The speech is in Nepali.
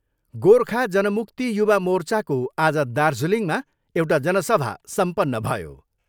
गोर्खा जनमुक्ति युवा मोर्चाको आज दार्जीलिङमा एउटा जनसभा सम्पन्न भयो।